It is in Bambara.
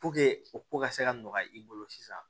o ko ka se ka nɔgɔya i bolo sisan